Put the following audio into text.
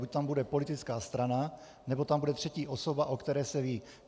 Buď tam bude politická strana, nebo tam bude třetí osoba, o které se ví.